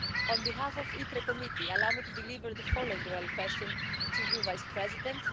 On behalf of the ITRE Committee, allow me to deliver the following oral question to you Vice-President.